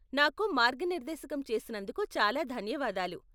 నాకు మార్గనిర్దేశం చేసినందుకు చాలా ధన్యవాదాలు.